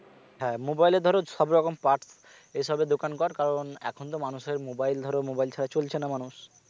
হ্যাঁ mobile এর ধরো সব রকম parts এ সবের দোকান কর কারণ এখন তো মানুষের mobile ধরো mobile ছাড়া চলছে না মানুষ